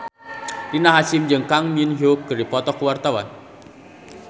Rina Hasyim jeung Kang Min Hyuk keur dipoto ku wartawan